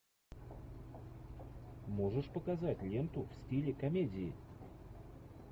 можешь показать ленту в стиле комедии